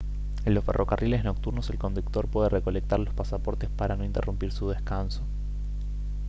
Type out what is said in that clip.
en los ferrocarriles nocturnos el conductor puede recolectar los pasaportes para no interrumpir su descanso